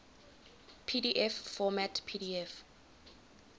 pdf format pdf